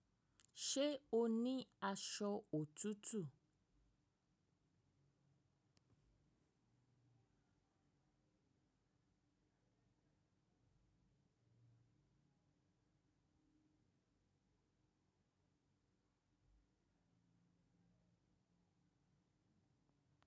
Ṣe o ni aṣọ òtútù?